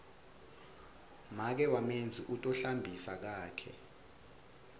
make wamenzi u tohlambisa kakhe